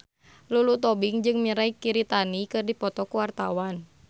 Lulu Tobing jeung Mirei Kiritani keur dipoto ku wartawan